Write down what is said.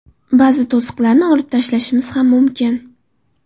Ba’zi to‘siqlarni olib tashlashimiz ham mumkin.